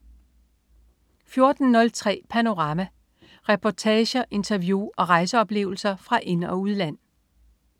14.03 Panorama. Reportager, interview og rejseoplevelser fra ind- og udland